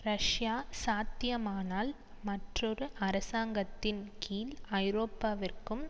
Russia சாத்தியமானால் மற்றொரு அரசாங்கத்தின் கீழ் ஐரோப்பாவிற்கும்